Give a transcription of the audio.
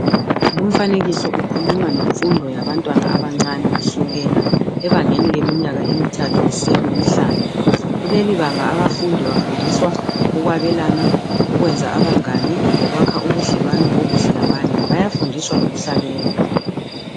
Lumfanekiso ukhuluma ngemfundo yabantwana abancani kusukela ebangeni leminyaka emithathu kusiya kwemihlanu kulelibanga abafundi bafundiswa ukwabelana ukwenza abangani lokwakha ubudlelwano obuhle labanye.